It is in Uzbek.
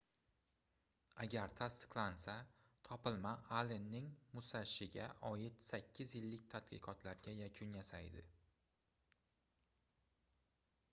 agar tasdiqlansa topilma allenning musashiga oid sakkiz yillik tadqiqotlariga yakun yasaydi